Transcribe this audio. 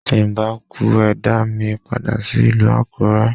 Tí n bá kú, ẹ dá mi padà sí ìlú Àkúrẹ́.